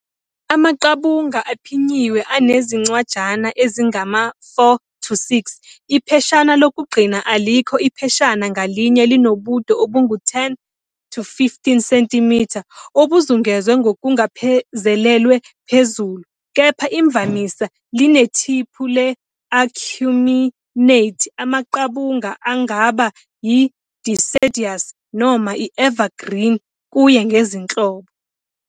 Amaqabunga aphinyiwe, anezincwajana ezingama-4-6, ipheshana lokugcina alikho, Ipheshana ngalinye linobude obungu-10-15 cm obuzungezwe ngokungazelelwe phezulu, kepha imvamisa linethiphu le-acuminate. Amaqabunga angaba yi- deciduous noma i- evergreen kuye ngezinhlobo.